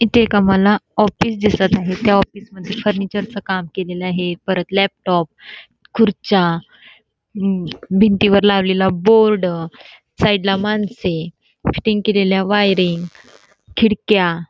इथे एक आम्हाला ऑफिस दिसत आहे त्या ऑफिसमध्ये फर्निचरच काम केलेलं आहे परत लॅपटॉप खुर्च्या भिंतीवर लावलेला बोर्ड साईडला माणसे फिटिंग केलेल्या वायरी खिडक्या--